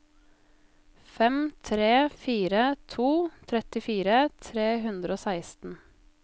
fem tre fire to trettifire tre hundre og seksten